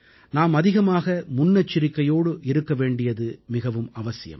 நாம் அதிக முன்னெச்சரிக்கையோடு இருக்க வேண்டியது மிகவும் அவசியம்